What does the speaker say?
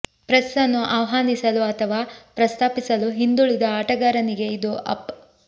press ಅನ್ನು ಆಹ್ವಾನಿಸಲು ಅಥವಾ ಪ್ರಸ್ತಾಪಿಸಲು ಹಿಂದುಳಿದ ಆಟಗಾರನಿಗೆ ಇದು ಅಪ್